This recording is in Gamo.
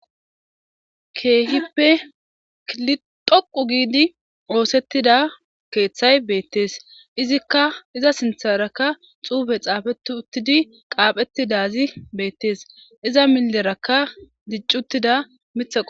Keehippe kiltoqu giidi oosettida keeththay beettees izikka iza sintharakka xuufe xaafeti uttidi qaaphetti dazi beettees iza millerakka diccuttida mithaq